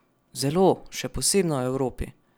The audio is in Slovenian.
Zelo, še posebno v Evropi.